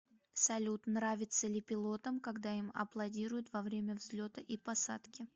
салют нравится ли пилотом когда им аплодируют во время взлета и посадки